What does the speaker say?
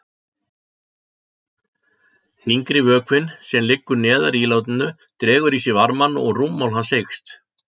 Þyngri vökvinn, sem liggur neðar í ílátinu, dregur í sig varmann og rúmmál hans eykst.